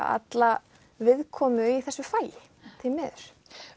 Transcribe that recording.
alla viðkomu í þessu fagi því miður